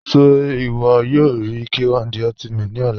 Ṣẹ iwọ yọ rí K1 De Ultimate ni ọ̀là?